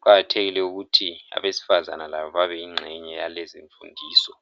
Kuqakathekile ukuthi abesifazana labo babeyingxenye yalezimfundiso.